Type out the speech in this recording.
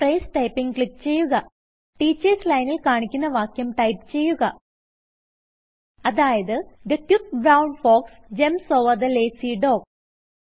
phrase Typingക്ലിക്ക് ചെയ്യുക teachers ലൈനിൽ കാണിക്കുന്ന വാക്യം ടൈപ്പ് ചെയ്യുക അതായത് the quick brown fox jumps over the lazy dog